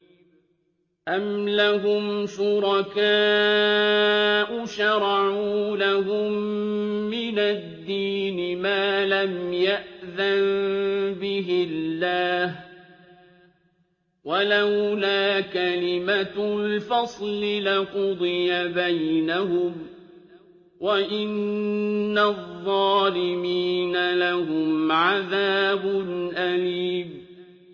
أَمْ لَهُمْ شُرَكَاءُ شَرَعُوا لَهُم مِّنَ الدِّينِ مَا لَمْ يَأْذَن بِهِ اللَّهُ ۚ وَلَوْلَا كَلِمَةُ الْفَصْلِ لَقُضِيَ بَيْنَهُمْ ۗ وَإِنَّ الظَّالِمِينَ لَهُمْ عَذَابٌ أَلِيمٌ